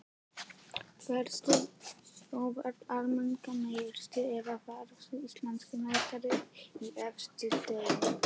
Varstu Sjóvá Almennrar meistari eða varðstu Íslandsmeistari í efstu deild?